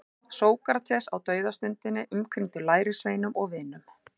Sókrates á dauðastundinni umkringdur lærisveinum og vinum.